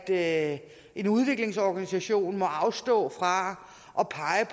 at en udviklingsorganisation må afstå fra at pege